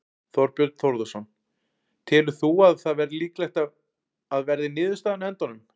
Þorbjörn Þórðarson: Telur þú að það verði líklegt að verði niðurstaðan á endanum?